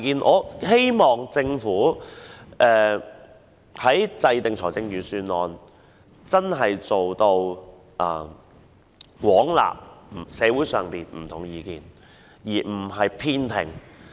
我希望政府在制訂預算案時能真正做到廣納社會上不同的意見，而不是偏聽。